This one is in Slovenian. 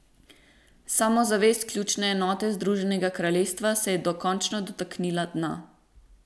Samozavest ključne enote Združenega kraljestva se je dokončno dotaknila dna.